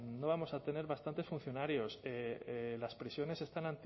no vamos a tener bastantes funcionarios las prisiones están